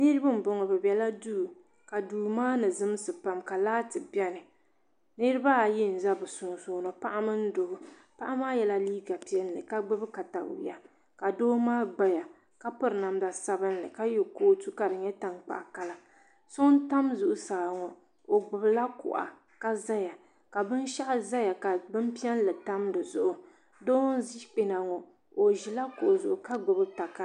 Nirib. m boŋɔ bɛ biɛla duu ka duu maa zimsi pam ka laati biɛni niriba ayi n za bɛ sunsuuni paɣa mini doo paɣa maa yela liiga ʒee ka doo maa gbaya ka piri namda sabinli ka ye Kootu ka di nyɛ tankpaɣu kala so n tam zuɣusaa ŋɔ o gbibila kuɣa ka zaya ka binshaɣu zaya ka bini piɛlli tam dizuɣu doo n ʒi kpena ŋɔ o ʒila kuɣu zuɣu ka gbibi takara.